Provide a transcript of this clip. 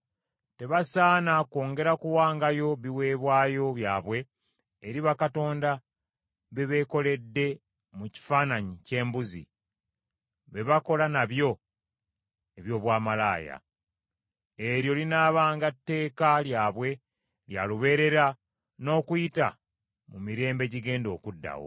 Tebasaana kwongera kuwangayo biweebwayo byabwe eri bakatonda be beekoledde mu kifaananyi ky’embuzi, be bakola nabyo eby’obwamalaaya . Eryo linaabanga tteeka lyabwe lya lubeerera n’okuyita mu mirembe egigenda okuddawo.